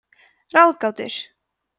ráðgátur